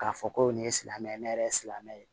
K'a fɔ ko nin ye silamɛ ye ne yɛrɛ ye silamɛ ye